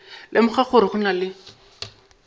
lemoga gore go na le